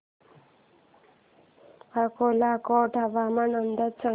अक्कलकोट हवामान अंदाज सांग